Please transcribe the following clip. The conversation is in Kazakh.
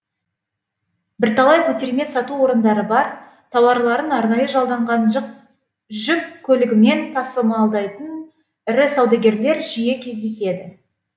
бірталай көтерме сату орындары бар тауарларын арнайы жалданған жүк көлігімен тасымалдайтын ірі саудагерлер жиі кездеседі